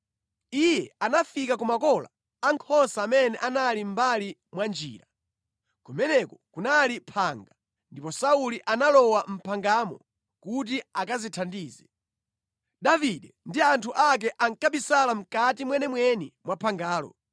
Iye anafika ku makola a nkhosa amene anali mʼmbali mwa njira. Kumeneko kunali phanga, ndipo Sauli analowa mʼphangamo kuti akadzithandize. Davide ndi anthu ake ankabisala mʼkati mwenimweni mwa phangalo.